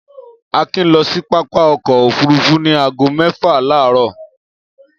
Akin lọ sí pápá ọkọ̀-òfurufú ní ago mẹ́fà láàárọ̀.